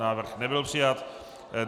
Návrh nebyl přijat.